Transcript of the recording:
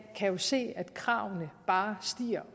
kan jo se at kravene bare